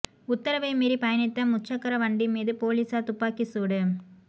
உத்தரவை மீறி பயணித்த முச்சக்கர வண்டி மீது பொலிஸார் துப்பாகிச் சூடு